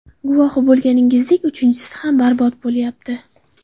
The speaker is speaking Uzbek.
Guvohi bo‘lganingizdek, uchinchisi ham barbod bo‘lyapti.